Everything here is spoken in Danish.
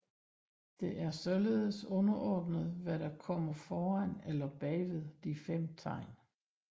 Det er således underordnet hvad der kommer foran eller bagved de fem tegn